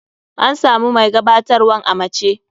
An samu mai gabatarwan a mace.